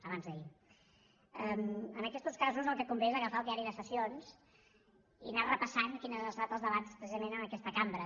ens aquests casos el que convé és agafar el diari de sessions i anar repassant quins han estat els debats precisament en aquesta cambra